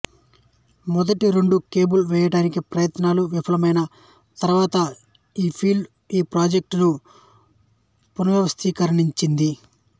మొదటి రెండు కేబుల్ వేయడానికి ప్రయత్నాలు విఫలమైన తరువాత ఫీల్డ్ ఈ ప్రాజెక్టును పునర్వ్యవస్థీకరించింది